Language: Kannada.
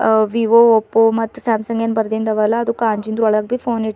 ಅ ವಿವೊ ಒಪ್ಪೋ ಮತ್ತು ಸ್ಯಾಮ್ಸಂಗ್ ಇನ ಬರ್ದಿಂದವಲ್ಲ ಅದು ಕಾಂಜಿನ ಒಳಪ್ಪಿ ಫೋನ್ ಇಟ್ಟಿ--